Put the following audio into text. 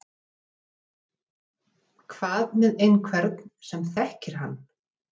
Hvað með einhvern sem þekkir hann?